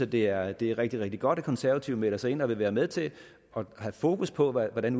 det er rigtig rigtig rigtig godt at konservative melder sig ind og vil være med til at have fokus på hvordan